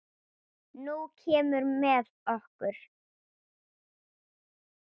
Nú kemurðu með okkur